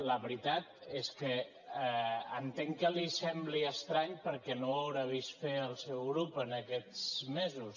la veritat és que entenc que li sembli estrany perquè no ho deu haver vist fer al seu grup en aquests mesos